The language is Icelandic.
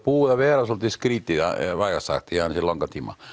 búið að vera dálítið skrítið vægast sagt í langan tíma